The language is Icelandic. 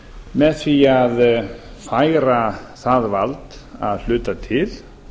með því að færa það vald að hluta til